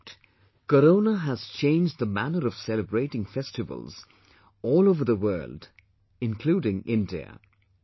In fact, Corona has changed the manner of celebrating festivals all over the world including India